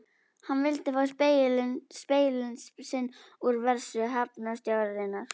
Hann vildi fá seglin sín úr vörslu hafnarstjórnarinnar.